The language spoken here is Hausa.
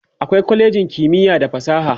akwai kwalejin kimiya da fasaha